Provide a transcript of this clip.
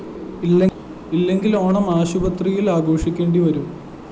ഇല്ലെങ്കില്‍ ഓണം ആശുപത്രിയില്‍ ആഘോഷിക്കേണ്ടി വരും